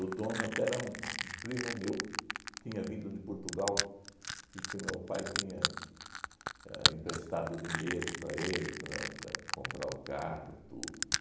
O dono até era um um primo meu, tinha vindo de Portugal e que meu pai tinha éh emprestado dinheiro para ele, para para comprar o carro, tudo.